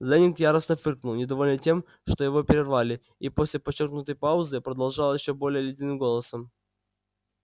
лэннинг яростно фыркнул недовольный тем что его прервали и после подчёркнутой паузы продолжал ещё более ледяным голосом